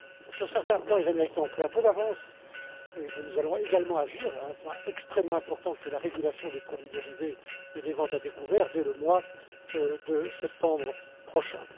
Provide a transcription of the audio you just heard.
Sur certains points, les Américains ont pris un peu d'avance, mais nous allons également agir à un point extrêmement important, à savoir la régulation des produits dérivés et des ventes à découvert, dès le mois de septembre prochain.